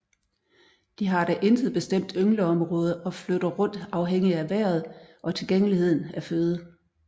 De har da intet bestemt yngleområde og flytter rundt afhængig af vejret og tilgængeligheden af føde